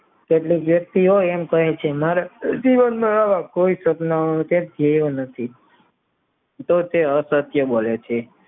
એટલે વ્યક્તિઓ એમ કહે છે મારે કોઈ સપનાઓની સાથ જીવવું નથી તો તે અપચયો બોલે છે